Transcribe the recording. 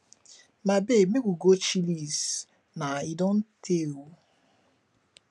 my babe make we go chillies na e don tey oo